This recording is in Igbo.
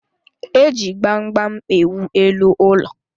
Eji gbam gbam ewu elu ụlọ.